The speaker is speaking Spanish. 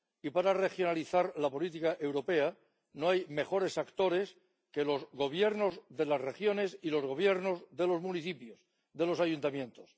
Y para regionalizar la política europea, no hay mejores actores que los gobiernos de las regiones y los gobiernos de los municipios, de los ayuntamientos.